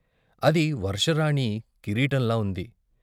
అది వర్షరాణి కిరీటంలా ఉంది.